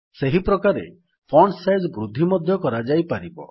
ସେହି ପ୍ରକାରେ font size ବୃଦ୍ଧି ମଧ୍ୟ କରାଯାଇପାରିବ